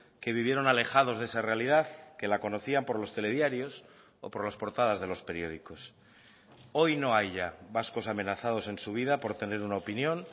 que vivieron alejados de esa realidad que la conocían por los telediarios o por las portadas de los periódicos hoy no hay ya vascos amenazados en su vida por tener una opinión